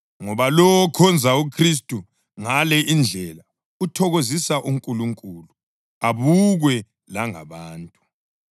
ngoba lowo okhonza uKhristu ngale indlela uthokozisa uNkulunkulu abukwe langabantu.